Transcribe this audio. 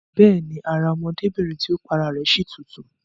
Bẹ́ẹ̀ni, ara ọmọdébìrin tí ó pa ara rẹ̀ si tutù